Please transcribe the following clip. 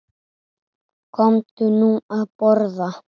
Komdu nú að borða